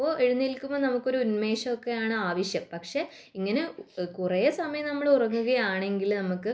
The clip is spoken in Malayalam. അപ്പോൾ എഴുന്നേൽക്കുമ്പോൾ നമുക്ക് കുറച്ചു ഉന്മേഷമൊക്കെയാണ് ആവശ്യം പക്ഷെ ഇങ്ങനെ കുറെ സമയം നമ്മൾ ഉറങ്ങുകയാണെങ്കിൽ നമുക്ക്